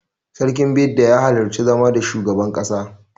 Sarkin Bida ya halarci zama da shugaban ƙasa.